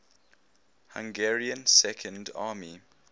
hungarian second army